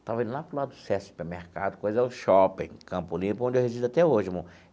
Estava indo lá para o lado do SESC, supermercado, coisa do shopping, Campo Limpo, onde eu resido até hoje, irmão.